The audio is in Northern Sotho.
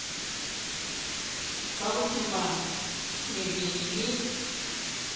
ba go tuma mebele le